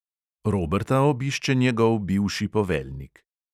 Roberta obišče njegov bivši poveljnik.